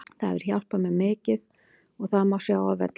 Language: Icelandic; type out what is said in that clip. Það hefur hjálpað mér mikið og það má sjá á vellinum.